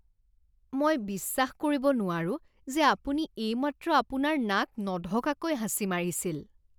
মই বিশ্বাস কৰিব নোৱাৰো যে আপুনি এইমাত্ৰ আপোনাৰ নাক নঢকাকৈ হাঁচি মাৰিছিল।